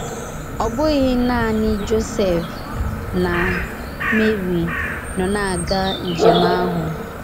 Ọ bụghị naanị Josef na Meri nọ na - aga njem ahụ.